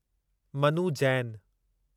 Manu Jain